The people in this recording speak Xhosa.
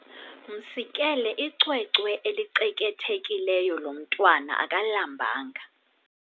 Msikele icwecwe elicekethekileyo lo mntwana akalambanga.